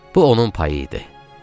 Bu onun payı idi.